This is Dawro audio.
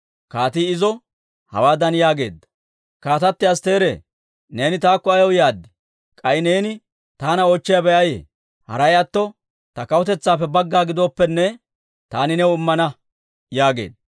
Kaatii izo hawaadan yaageedda; «Kaatatti Astteere, neeni taakko ayaw yaad? K'ay neeni taana oochchiyaabay ayee? Haray atto ta kawutetsaappe bagga gidooppenne, taani new immana» yaageedda.